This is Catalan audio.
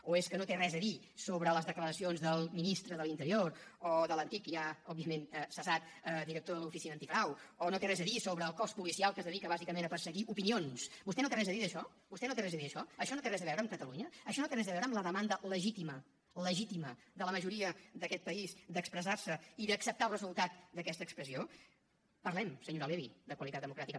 o no té res a dir sobre les declaracions del ministre de l’interior o de l’antic i ja òbviament cessat director de l’oficina antifrau o no té res a dir sobre el cos policial que es dedica bàsicament a perseguir opinions vostè no té res a dir d’això vostè no té res a dir d’això això no té res a veure amb catalunya això no té res a veure amb la demanda legítima legítima de la majoria d’aquest país d’expressar se i d’acceptar el resultat d’aquesta expressió parlem senyora levy de qualitat democràtica